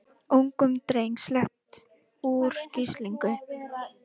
Ungum dreng sleppt úr gíslingu